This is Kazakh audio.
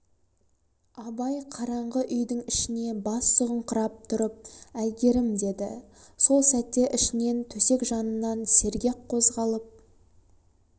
абай қараңғы үйдің ішіне бас сұғыңқырап тұрып әйгерім деді сол сәтте ішінен төсек жанынан сергек қозғалып